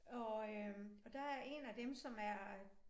Og øh og der er 1 af dem som er øh